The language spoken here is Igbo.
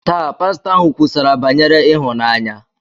Taa, pastọ ahụ kwusara banyere ịhụnanya.